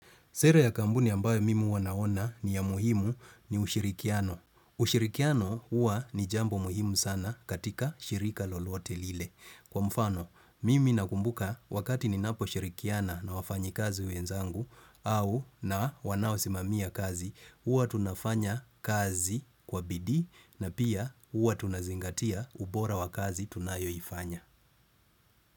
Sera ya kambuni ambayo mimi huwa naona ni ya muhimu ni ushirikiano. Ushirikiano huwa ni jambo muhimu sana katika shirika lolote lile. Kwa mfano, mimi nakumbuka wakati ninaposhirikiana na wafanyikazi wenzangu au na wanaosimamia kazi, huwa tunafanya kazi kwa bidii na pia huwa tunazingatia ubora wa kazi tunayoifanya.